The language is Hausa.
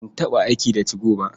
Ban taɓa aiki da 2go ba.